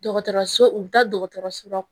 Dɔgɔtɔrɔso u bɛ taa dɔgɔtɔrɔso